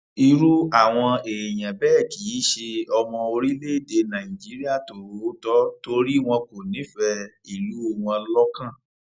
irú àwọn èèyàn bẹẹ kì í ṣe ọmọ orílẹèdè nàìjíríà tòótọ torí wọn kò nífẹẹ ìlú wọn lọkàn